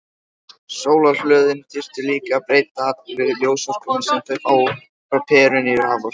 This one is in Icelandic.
Sólarhlöðin þyrftu líka að breyta allri ljósorkunni sem þau fá frá perunni í raforku.